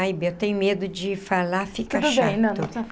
Ai, bem, eu tenho medo de falar, fica chato.